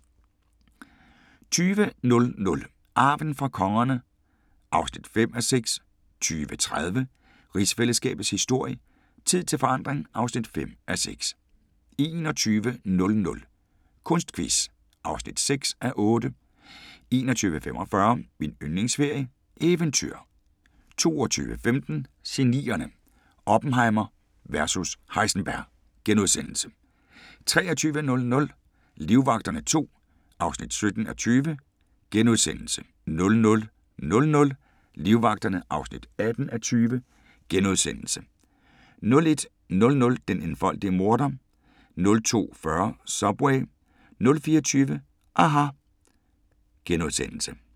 20:00: Arven fra kongerne (5:6) 20:30: Rigsfællesskabets historie: Tid til forandring (5:6) 21:00: Kunstquiz (6:8) 21:45: Min yndlingsferie: Eventyr 22:15: Genierne: Oppenheimer vs Heisenberg * 23:00: Livvagterne II (17:20)* 00:00: Livvagterne (18:20)* 01:00: Den enfoldige morder 02:40: Subway 04:20: aHA! *